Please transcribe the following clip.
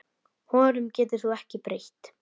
Honum getur þú ekki breytt.